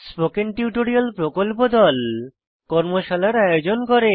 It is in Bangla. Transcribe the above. স্পোকেন টিউটোরিয়াল প্রকল্প দল কর্মশালার আয়োজন করে